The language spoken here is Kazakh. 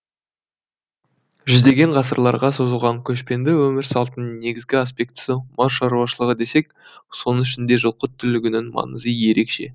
жүздеген ғасырларға созылған көшпенді өмір салтының негізгі аспектісі мал шаруашылығы десек соның ішінде жылқы түлігінің маңызы ерекше